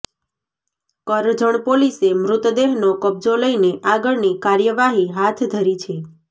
કરજણ પોલીસે મૃતદેહનો કબજો લઈને આગળની કાર્યવાહી હાથ ધરી છે